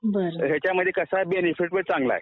हायच्यामध्ये कसं आहे, बेनिफिट पण चांगलं आहे